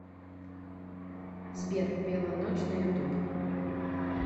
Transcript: сбер белая ночь на ютуб